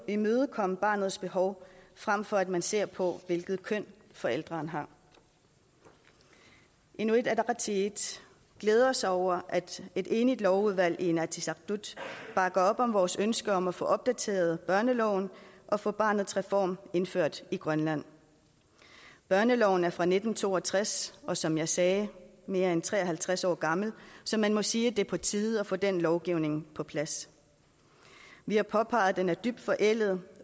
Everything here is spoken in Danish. imødekomme barnets behov frem for at man ser på hvilket køn forældrene har inuit ataqatigiit glæder sig over at et enigt lovudvalg i inatsisartut bakker op om vores ønske om at få opdateret børneloven og få barnets reform indført i grønland børneloven er fra nitten to og tres og som jeg sagde mere end tre og halvtreds år gammel så man må sige at det er på tide at få den lovgivning på plads vi har påpeget at den er dybt forældet